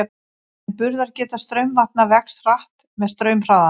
En burðargeta straumvatna vex hratt með straumhraðanum.